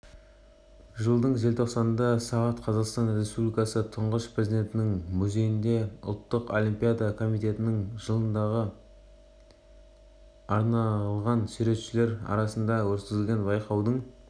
жылдың желтоқсанында сағат қазақстан республикасы тұңғыш президентінің музейінде ұлттық олимпиада комитетінің жылдығына арналғансуретшілер арасында өткізілген байқаудың